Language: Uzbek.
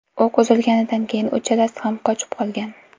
O‘q uzilganidan keyin uchalasi ham qochib qolgan.